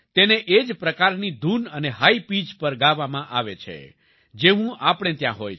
તેને એ જ પ્રકારની ધૂન અને હાઈ પીચ પર ગાવામાં આવે છે જેવું આપણે ત્યાં હોય છે